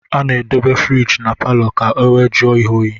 Ana edebe furige na paló ka ọ wee jụọ ihe óyi.